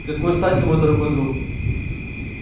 с какой стати мой дорогой друг